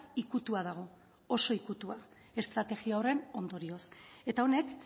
ikutua dago oso ikutua estrategia horren ondorioz eta honek